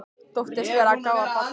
Þóttist vera að gá að Badda.